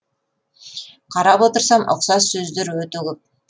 қарап отырсам ұқсас сөздер өте көп